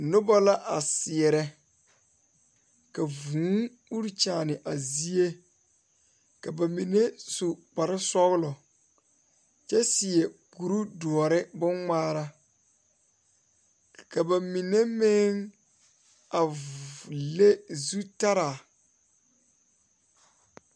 Diwogi wogi kaŋ poɔ la ka dɔɔba ne pɔgeba bebe ka bamine taa konpitare ka bamine meŋ zeŋ ka bamine meŋ are ka bamine su kpare sɔglɔ kaa ba tabol nazu naŋ zeŋ koo e tabol pelaa.